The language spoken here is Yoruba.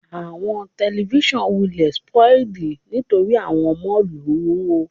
Awọn tẹlifisiọnu wulẹ spoiled nitori awọn ọmọ lu o